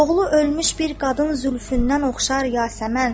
Oğulu ölmüş bir qadın zülfündən oxşar yasəmən.